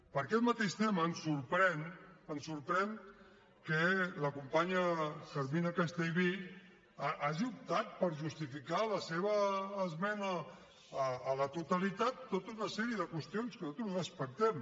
per aquest mateix tema em sorprèn em sorprèn que la companya carmina castellví hagi optat per justificar la seva esmena a la totalitat amb tota una sèrie de qüestions que nosaltres respectem